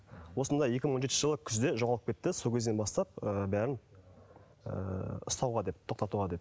осындай екі мың он жетінші жылы күзде жоғалып кетті сол кезден бастап ы бәрін ыыы ұстауға деп тоқтатуға деп